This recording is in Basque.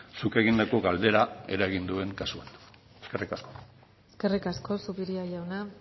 zuk egindako galdera eragin duen kasuan eskerrik asko eskerrik asko zupiria jauna